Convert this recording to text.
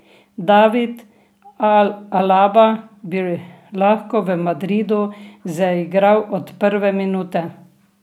David Alaba bi lahko v Madridu zaigral od prve minute.